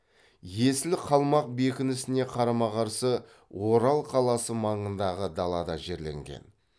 есілі қалмақ бекінісіне қарама қарсы орал қаласы маңындағы далада жерленген